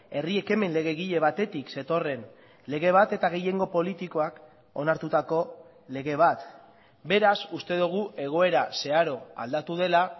herri ekimen legegile batetik zetorren lege bat eta gehiengo politikoak onartutako lege bat beraz uste dugu egoera zeharo aldatu dela